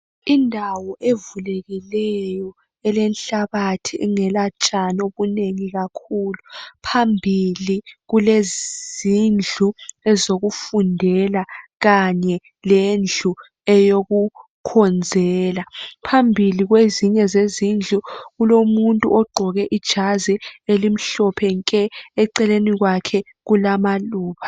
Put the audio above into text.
Indawo evulekileyo ilenhlabathi ingelatshani kakhulu , phambili kulezindlu zokufundela kanye lendlu eyokukhonzela , phambili kwezinye zezindlu kulomuntu ogqoke ijazi elimhlophe nke , eceleni kwakhe kulamaluba